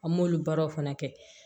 An m'olu baaraw fana kɛ